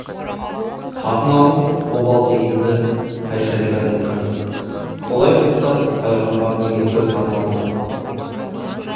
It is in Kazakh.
қатын алу обал дегенді қай шариғат айтқан олай болса пайғамбар неге төрт қатын алды